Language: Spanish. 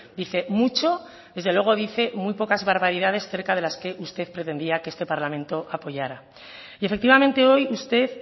dice mucho desde luego dice muy pocas barbaridades acerca de las que usted pretendía que este parlamento apoyará y efectivamente hoy usted